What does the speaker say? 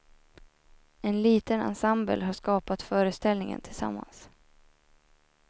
En liten ensemble har skapat föreställningen tillsammans.